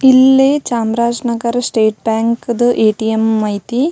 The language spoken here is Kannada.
ಇಲ್ಲೇ ಚಾಮರಾಜ್ನಗರ ಸ್ಟೇಟ್ ಬಾಂಕ್ದು ಎ ಟಿ ಎಂ ಐತಿ.